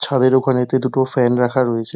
ছাদের ওখানেতে দুটো ফ্যান রাখা রয়েছে।